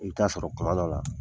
I bi t'a sɔrɔ kuma dɔ la